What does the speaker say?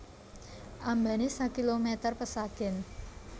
Ambané sakilomèter pesagèn